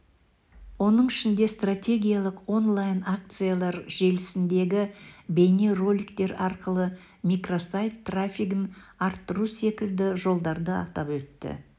оның ішінде стратегиялық онлайн-акциялар желісіндегі бейнероликтер арқылы микросайт трафигін арттыру секілді жолдарды атап өтті